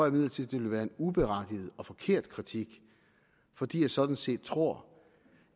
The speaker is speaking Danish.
imidlertid det ville være en uberettiget og forkert kritik fordi jeg sådan set tror